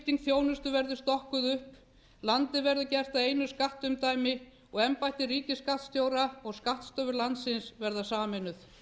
umdæmaskipting þjónustu verður stokkuð upp landið gert að einu skattumdæmi og embætti ríkisskattstjóra og skattstofur landsins verða sameinuð